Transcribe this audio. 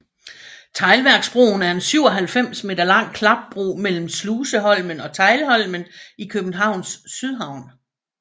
Teglværksbroen er en 97 meter lang klapbro mellem Sluseholmen og Teglholmen i Københavns Sydhavn